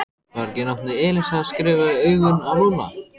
Var ekki nafnið Elísa skrifað í augun á Lúlla?